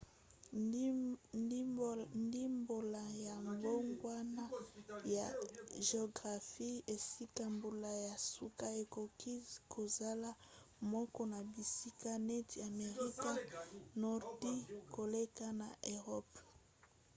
ndimbola ya mbongwana ya geographie esika mbula ya suka ekoki kozala moke na bisika neti amerika ya nordi koleka na eropa